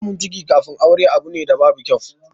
Samun ciki kafin aure abu ne da babu kyau.